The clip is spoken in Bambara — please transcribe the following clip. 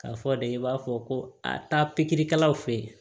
K'a fɔ de i b'a fɔ ko a taa pikiri kɛlaw fɛ yen